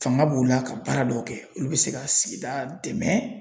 Fanga b'u la ka baara dɔw kɛ olu bɛ se ka sigida dɛmɛ